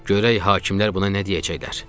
Görək hakimlər buna nə deyəcəklər.